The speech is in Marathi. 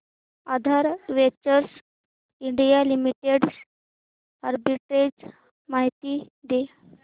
आधार वेंचर्स इंडिया लिमिटेड आर्बिट्रेज माहिती दे